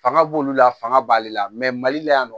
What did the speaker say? Fanga b'olu la fanga b'ale la mali la yan nɔ